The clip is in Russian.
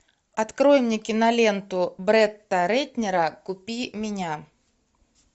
открой мне киноленту бретта рэтнера купи меня